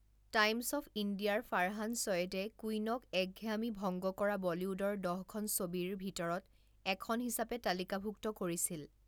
Times of ইণ্ডিয়া'ৰ ফাৰহান চৈয়দে 'কুইন'ক একঘেয়ামি ভংগ কৰা বলীউডৰ দহখন ছবিৰ ভিতৰত এখন হিচাপে তালিকাভুক্ত কৰিছিল।